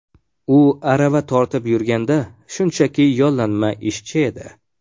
U arava tortib yurganda shunchaki yollanma ishchi edi.